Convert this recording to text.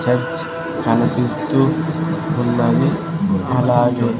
church కనిపిస్తూ ఉన్నది అలాగే--